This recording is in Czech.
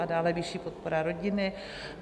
A dále vyšší podpora rodiny.